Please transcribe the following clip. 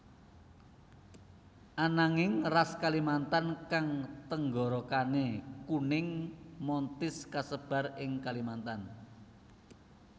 Ananging ras Kalimantan kang tenggorokane kuning montis kasebar ing Kalimantan